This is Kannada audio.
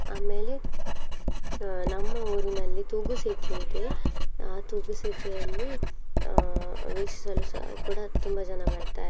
ಆಮೇಲೆ ಅಹ್ ನಮ್ಮ ಊರಿನಲ್ಲಿ ತೂಗು ಸೇತುವೆ ಇದೆ ಆ ತೂಗು ಸೇತುವೆಯಲ್ಲಿ ಅಹ್ ವೀಕ್ಷಿಸಲು ಸಹ ಕೂಡ ತುಂಬಾ ಜನ ಬರ್ತಾರೆ.